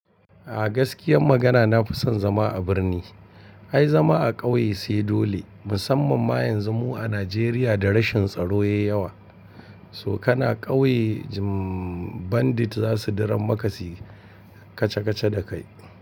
A gaskiyan magana na fi son zama a birni. Ai zama a ƙauye sai dole musamman ma yanzu mu a Najeriya da rashin tsaro yayi yawa. So kana ƙauye jmm bandit za su diran makasi kaca kaca da kai.